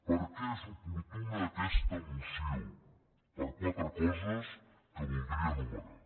per què és oportuna aquesta moció per quatre coses que voldria enumerar